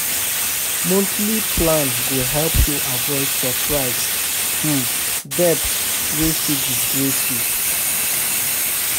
Monthly plan go help you avoid surprise um debt wey fit disgrace you.